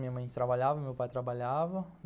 Minha mãe trabalhava, meu pai trabalhava.